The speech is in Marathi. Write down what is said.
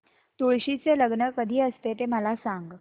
तुळशी चे लग्न कधी असते ते मला सांग